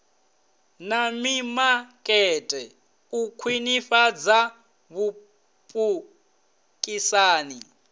na mimakete u khwinifhadza vhupikisani